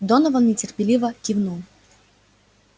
донован нетерпеливо кивнул